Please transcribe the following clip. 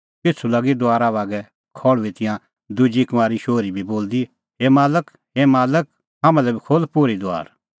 पिछ़ू लागी दुआरा बागै खल़्हुई तिंयां दुजी कुंआरी शोहरी बी बोलदी हे मालक हे मालक हाम्हां लै बी खोल्ह पोर्ही दुआर